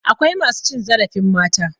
Akwai masu cin zarafin mata.